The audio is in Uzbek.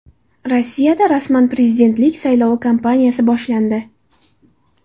Rossiyada rasman prezidentlik saylovi kampaniyasi boshlandi.